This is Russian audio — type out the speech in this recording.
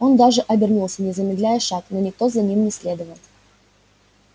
он даже обернулся не замедляя шаг но никто за ним не следовал